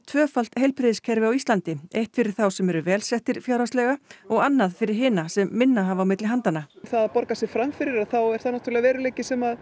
tvöfalt heilbrigðiskerfi á Íslandi eitt fyrir þá sem eru vel settir fjárhagslega og annað fyrir hina sem minna hafa á milli handanna það að borga sig fram fyrir þá er það veruleiki sem